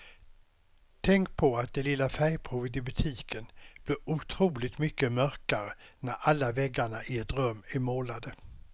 Tänk på att det lilla färgprovet i butiken blir otroligt mycket mörkare när alla väggarna i ett rum är målade.